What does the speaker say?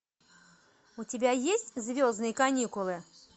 у тебя есть звездные каникулы